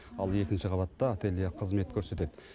ал екінші қабатта ателье қызмет көрсетеді